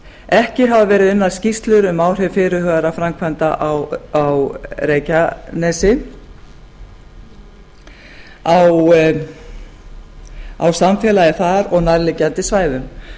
ekki hafa verið unnar skýrslum um áhrif fyrirhugaðra framkvæmda á reykjanesi á samfélagið þar og á nærliggjandi svæðum